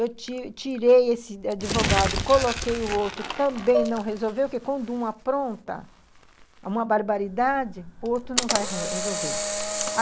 Eu tirei tirei esse advogado, coloquei o outro, também não resolveu, porque quando uma apronta uma barbaridade, o outro não vai resolver.